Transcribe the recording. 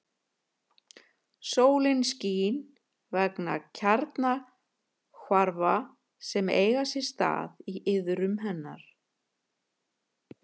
Sólin skín vegna kjarnahvarfa sem eiga sér stað í iðrum hennar.